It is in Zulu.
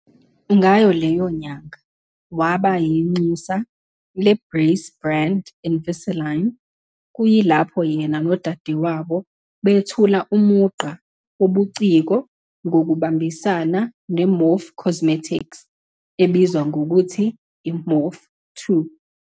Ngayo leyo nyanga, waba yinxusa le-brace brand Invisalign, kuyilapho yena nodadewabo bethula umugqa wobuciko ngokubambisana ne-Morphe Cosmetics ebizwa ngokuthi iMorphe 2.